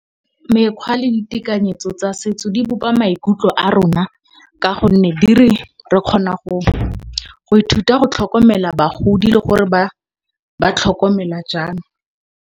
Mekgwa le ditekanyetso tsa setso di bopa maikutlo a rona ka gonne re kgona go ithuta go tlhokomela bagodi le gore ba tlhokomelwa jang.